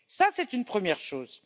C'est une première chose.